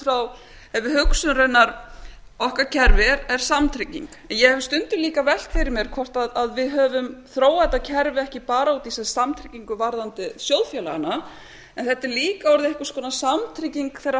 ef við hugsum raunar okkar kerfi er samtrygging en ég hef stundum líka velt fyrir mér hvort við höfum þróað þetta kerfi ekki bara út í samfylkingu varðandi sjóðfélaganna en þetta er líka orðið einhvers konar samtrygging þeirra